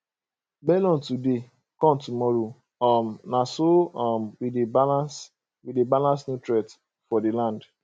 melon today corn tomorrow um na so um we dey balance we dey balance nutrient for the land